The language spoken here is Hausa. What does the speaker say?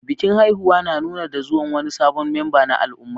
Bikin haihuwa na nuni da zuwan wani sabon memba na al'umma.